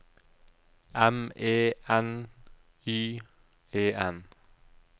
M E N Y E N